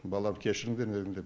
баламды кешіріңдер деп